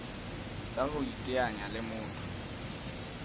tsa ho iteanya le motho